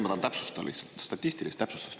Ma tahan täpsustada, palun statistilist täpsustust.